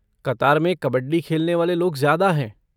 कतार में कबड्डी खेलने वाले लोग ज्यादा हैं।